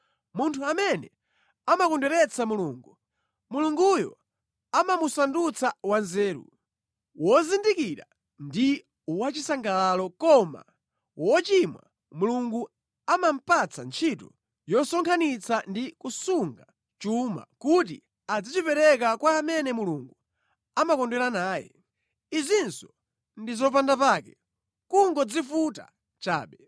Munthu amene amakondweretsa Mulungu, Mulunguyo amamusandutsa wanzeru, wozindikira ndi wachisangalalo, koma wochimwa, Mulungu amamupatsa ntchito yosonkhanitsa ndi kusunga chuma kuti adzachipereke kwa amene Mulunguyo amakondwera naye. Izinso ndi zopandapake, nʼkungodzivuta chabe.